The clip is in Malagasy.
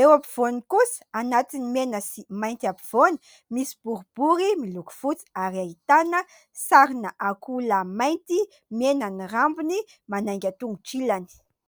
Eo ampovoanany kosa anatin'ny mena sy mainty ampovoany, misy boribory miloko fotsy ary ahitana sarina akoholahy mainty, mena ny rambony, manainga tongotra ilany.